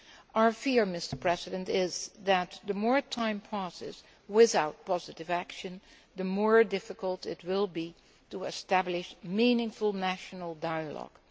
Our fear is that the more time passes without positive action, the more difficult it will be to establish meaningful national dialogue.